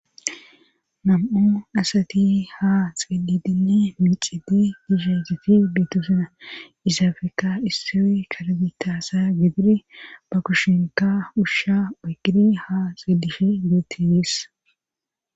Nam'o asati ha xeedidine miixide dishezeti beetusina isafeka isso karbitaasa gidiri ba kushinka ushsha oygiri ha xeelishe geettiyis.